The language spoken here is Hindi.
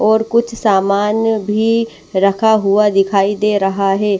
और कुछ सामान भी रखा हुआ दिखाई दे रहा है।